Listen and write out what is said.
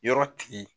Yɔrɔ tigi